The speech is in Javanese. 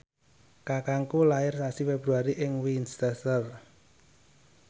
kakangku lair sasi Februari ing Winchester